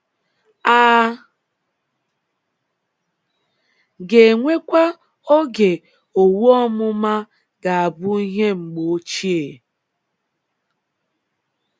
A ga-enwekwa oge owu ọmụma ga - abụ ihe mgbe ochie?